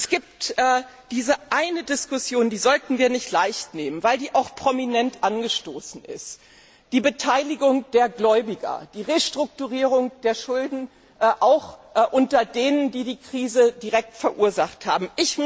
Es gibt diese eine Diskussion, die sollten wir nicht leicht nehmen, weil die auch prominent angestoßen ist Die Beteiligung der Gläubiger, die Restrukturierung der Schulden auch unter denen, die die Krise direkt verursacht haben.